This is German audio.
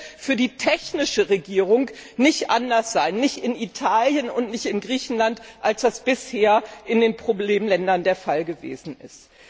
Das wird für die technische Regierung nicht anders sein nicht in Italien und nicht in Griechenland als das bisher in den Problemländern der Fall gewesen ist.